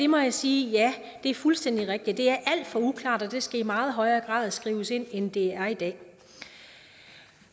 må jeg sige ja det er fuldstændig rigtigt det er alt for uklart og det skal i meget højere grad skrives ind end det er i dag